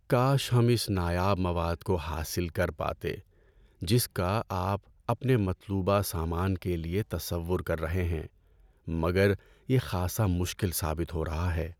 کاش ہم اس نایاب مواد کو حاصل کر پاتے جس کا آپ اپنے مطلوبہ سامان کے لیے تصور کر رہے ہیں، مگر یہ خاصا مشکل ثابت ہو رہا ہے۔